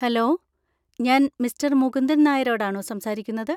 Hello! ഞാൻ mister Mukundan നായരോടാണോ സംസാരിക്കുന്നത്?